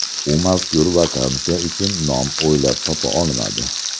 U mazkur vakansiya uchun nom o‘ylab topa olmadi.